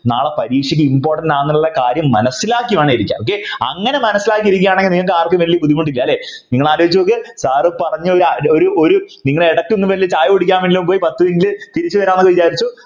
നാളെ പരീക്ഷയ്ക്ക് Important ആണെന്നുള്ള കാര്യം മനസ്സിലാക്കി വേണം ഇരിക്കാൻ അങ്ങനെ മനസ്സിലാക്കിയിരിക്കുകയാണെങ്കിൽ നിങ്ങൾക്ക് ആർക്കും വലിയ ബുദ്ധിമുട്ടില്ല ല്ലേ നിങ്ങൾ ആലോചിച്ചു നോക്കി Sir പറഞ്ഞ ഒരു ഒരു നിങ്ങൾ എടുക്കുന്ന ചായ കുടിക്കാൻ എങ്കിലും പോയി പത്തു minute തിരിച്ചു വരാം എന്നൊക്കെ വിചാരിച്ചു